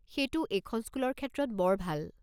সেইটো এইখন স্কুলৰ ক্ষেত্ৰত বৰ ভাল।